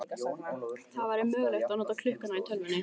Það væri mögulegt að nota klukkuna í tölvunni.